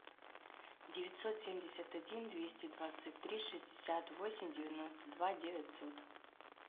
девятьсот семьдесят один двести двадцать три шестьдесят восемь девяносто два девятьсот